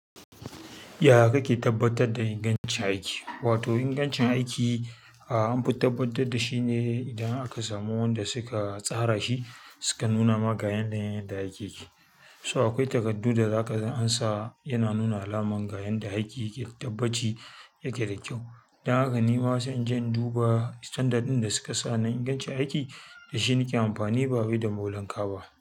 Ya kake tabbatar da ingancin aiki? Wato ingancin aiki, ah an fi tabbatar da shi ne idan aka samu wanda suka tsara shi, suka nuna ma ga yanayin yadda aiki yake. So, akwai takardu da za kaga ansa yana nuna alamar ga yanda aiki yake tabbaci yake da kyau. Don haka ni ma sai in je in duba 'standard' ɗin da suka sa na ingancin aiki, da shi nake amfani ba wai da molan ka ba.